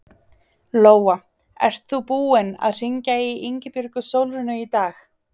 Lóa: Ert þú búinn að hringja í Ingibjörgu Sólrúnu í dag?